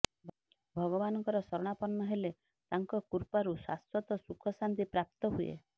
ଭଗବାନଙ୍କର ଶରଣାପନ୍ନ ହେଲେ ତାଙ୍କ କୃପାରୁ ଶାଶ୍ୱତ ସୁଖଶାନ୍ତି ପ୍ରାପ୍ତ ହୁଏ